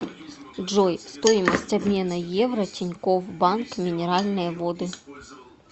джой стоимость обмена евро тинькофф банк минеральные воды